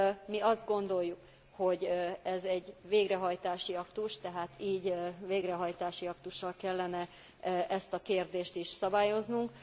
Mi azt gondoljuk, hogy ez egy végrehajtási aktus, tehát így, végrehajtási aktussal kellene ezt a kérdést is szabályoznunk.